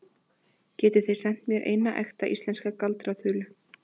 Getið þið sent mér eina ekta íslenska galdraþulu?